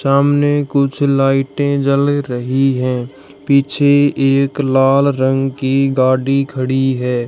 सामने कुछ लाइटें जल रही हैं पीछे एक लाल रंग की गाड़ी खड़ी है।